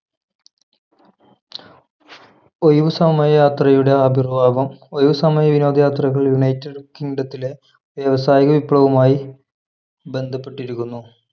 ഒഴിവുസമയ യാത്രയുടെ ആവിർഭാവം ഒഴിവു സമയ വിനോദയാത്രകൾ united kingdom ത്തിലെ വ്യാവസായിക വിപ്ലവവുമായി ബന്ധപ്പെട്ടിരിക്കുന്നു